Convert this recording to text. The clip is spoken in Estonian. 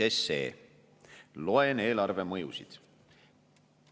Loen mõju kohta eelarvele.